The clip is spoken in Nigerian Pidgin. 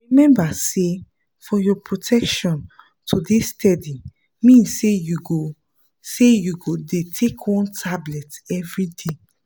remember say for your protection to dey steady mean say you go say you go dey take one tablet everyday